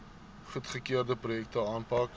goedgekeurde projekte aanpak